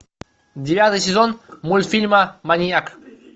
девятый сезон мультфильма маньяк